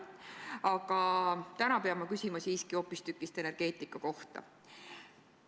Aga täna pean ma küsima hoopistükkis energeetika kohta.